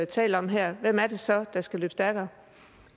taler om her hvem er det så der skal løbe stærkere